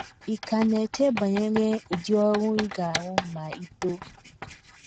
Ị̀ ka na - eche banyere ụdị ọrụ ị ga - arụ ma i too?